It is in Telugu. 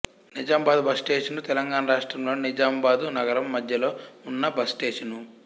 నిజామాబాదు బస్ స్టేషను తెలంగాణ రాష్ట్రంలోని నిజామాబాదు నగరం మధ్యలో ఉన్న బస్ స్టేషను